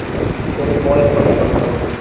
তোর বয়স কত এখন মোটামোটি?